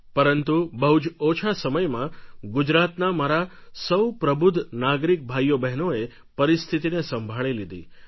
પરંતુ બહુ જ ઓછા સમયમાં ગુજરાતના મારા સૌ પ્રબુદ્ધ નાગરિક ભાઈઓબહેનોએ પરિસ્થિતિને સંભાળી લીધી